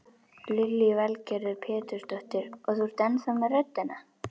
Lillý Valgerður Pétursdóttir: Og þú ennþá með röddina?